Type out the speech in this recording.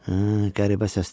Hə, qəribə səsdir.